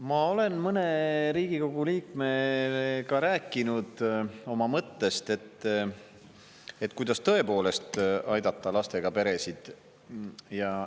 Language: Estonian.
Ma olen mõne Riigikogu liikmega rääkinud oma mõttest, kuidas tõepoolest aidata lastega peresid.